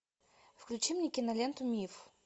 включи мне киноленту миф